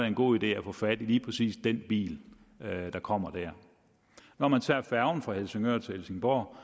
en god idé at få fat i lige præcis den bil der kommer der når man tager færgen fra helsingør til helsingborg